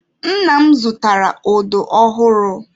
Nna m zụtara odo ọhụrụ.